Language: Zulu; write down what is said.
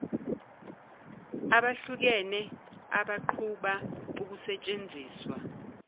abahlukene abaqhuba ukusentsenziswa